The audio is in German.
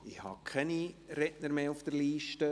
Es gibt keine Redner mehr auf der Liste.